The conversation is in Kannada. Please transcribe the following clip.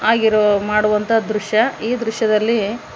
ಆಗಿರುವ ಮಾಡುವಂತ ದೃಶ್ಯ ಈ ದೃಶ್ಯದಲ್ಲಿ--